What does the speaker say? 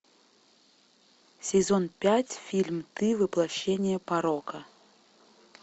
сезон пять фильм ты воплощение порока